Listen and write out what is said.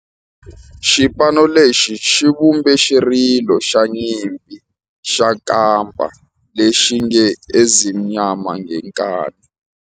Xipano lexi xi vumbe xirilo xa nyimpi xa kampa lexi nge 'Ezimnyama Ngenkani'.